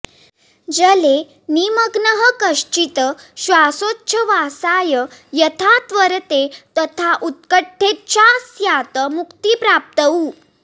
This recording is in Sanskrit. जले निमग्नः कश्चित् श्वासोच्छ्वासाय यथा त्वरते तथा उत्कटेच्छा स्यात् मुक्तिप्राप्तौ